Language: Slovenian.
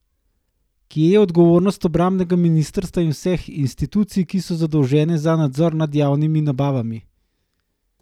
Kje je odgovornost obrambnega ministra in vseh institucij, ki so zadolžene za nadzor nad javnimi nabavami?